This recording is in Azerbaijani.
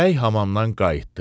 Bəy hamamdan qayıtdı.